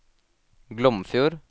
Glomfjord